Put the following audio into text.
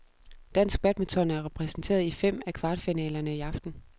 Dansk badminton er repræsenteret i fem af kvartfinalerne i aften.